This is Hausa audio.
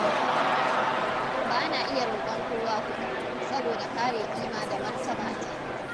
Ba na iya roƙon kowa kuɗi, saboda kare kima da martabata.